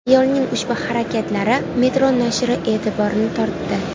Ayolning ushbu harakatlari Metro nashri e’tiborini tortdi .